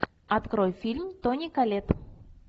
открой фильм тони коллетт